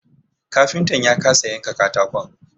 Kafintan ya kasa yanka katakon